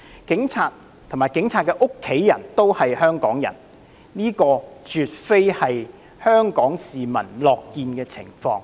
警察和警察的家人也是香港人，這絕非香港市民樂見的情況。